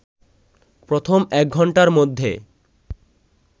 প্রথম একঘন্টার মধ্যে